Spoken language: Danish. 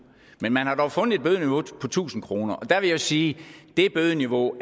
men man har dog fundet et bødeniveau på tusind kr og der vil jeg sige at det bødeniveau